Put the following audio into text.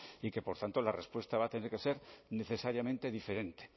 y que por tanto la respuesta va a tener que ser necesariamente diferente